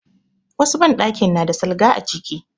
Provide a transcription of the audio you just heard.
Wasu banɗakin na da salga a ciki.